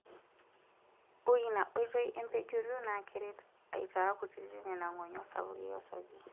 Ore ina oitoi empejoto naa keret aitaa kutiti nena ng'onyo sapuki osarge.